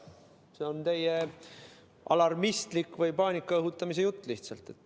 See on lihtsalt teie alarmistlik või paanika õhutamise jutt.